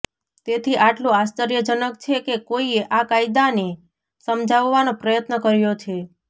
તેથી આટલું આશ્ચર્યજનક છે કે કોઈએ આ કાયદાને સમજાવવાનો પ્રયત્ન કર્યો છે